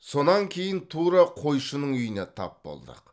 сонан кейін тура қойшының үйіне тап болдық